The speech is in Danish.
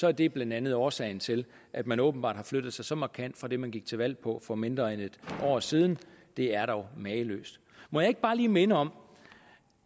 er det blandt andet årsagen til at man åbenbart har flyttet sig så markant fra det man gik til valg på for mindre end et år siden det er dog mageløst må jeg ikke bare lige minde om